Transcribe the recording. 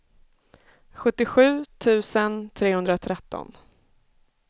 sjuttiosju tusen trehundratretton